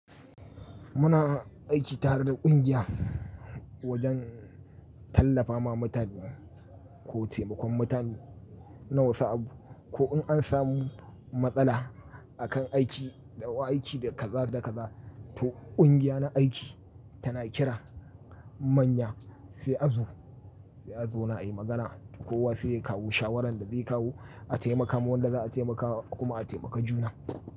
Muna aiki tare da ƙungiya wajen tallafa ma mutane ko taimakon mutane na wasu abu. Ko in an samu matsala a kan aiki, ɗau aiki da kaza da kaza, to ƙungiya na aiki tana kira manya sai a zo, sai a zauna ayi magana. Kowa sai ya kawo shawarar da zai kawo a taimaka wa wanda za'a taimakawa kuma a taimaka juna.